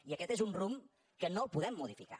i aquest és un rumb que no el podem modificar